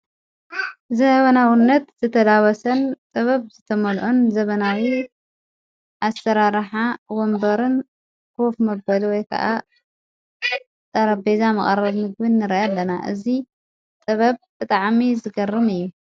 ዘበናዉነት ዘተዳወሰን ጥበብ ዝተመልኦን ዘበናዊ ኣሠራራሓ ወንበርን ክፍ መበል ወይ ከዓ ጠረቤዛ መቐረሚግን ረአኣለና እዙ ጥበብ እጥዓሚ ዝገርም እዩ።